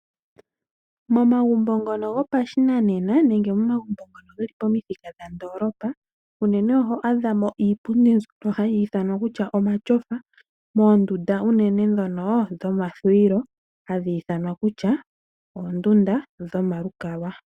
Momagumbo ngono gopashinanena nenge momagumbo ngono ge li pamuthika gondoolopa, unene oho adha mo iipundi mbyono hayi ithanwa kutya omatyofa, moondunda unene ndhono dhomathuwilo hadhi ithanwa kutya oondunda dhokugondja.